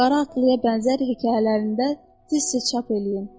Qara atlıya bənzər hekayələrində tez-tez çap eləyin.